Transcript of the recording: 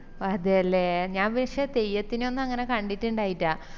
അതെ ലെ ഞാൻ പക്ഷെ തെയ്യത്തിനെ ഒന്നും അങ്ങനെ കണ്ടിറ്റിണ്ടായിറ്റാ